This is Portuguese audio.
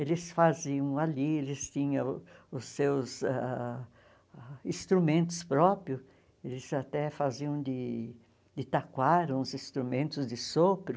Eles faziam ali, eles tinham os seus ah ah instrumentos próprios, eles até faziam de de taquara, uns instrumentos de sopro.